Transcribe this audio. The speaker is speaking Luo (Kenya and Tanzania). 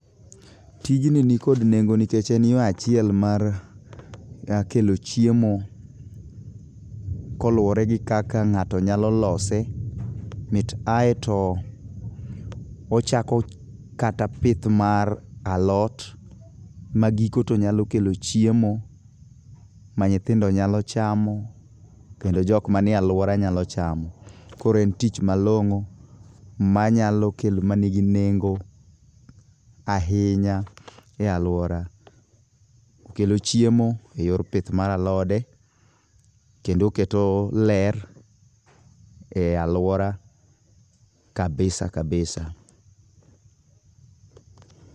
Tijni nikod nengo nikech en yo achiel mar kelo chiemo koluwore gi kaka ng'ato nyalo lose, mit ay to ochako kata pith mar alot, ma giko to nyalo kelo chiemo, ma nyithindo nyalo chamo kendo jok manie alwora nyalo chamo. Koro en tich malong'o manyalo kelo, manigi nengo ahinya e alwora. Okelo chiemo e yor pith mar alode, kendo oketo ler e alwora kabisa kabisa.